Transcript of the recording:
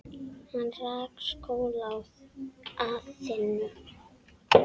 Hann rak skóla í Aþenu.